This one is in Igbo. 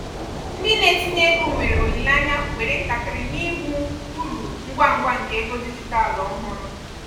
ndị na-etinye ego nwere olileanya were ntakịrị n'ịhụ uru ngwa ngwa nke ego dijitalụ ọhụrụ.